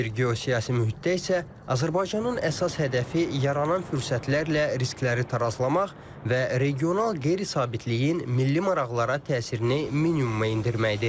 Belə bir geosiyasi mühitdə isə Azərbaycanın əsas hədəfi yaranan fürsətlərlə riskləri tarazlamaq və regional qeyri-sabitliyin milli maraqlara təsirini minimuma endirməkdir.